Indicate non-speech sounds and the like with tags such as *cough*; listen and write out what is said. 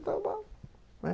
*unintelligible* bom, né.